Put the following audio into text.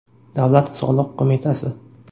Davlat soliq qo‘mitasi.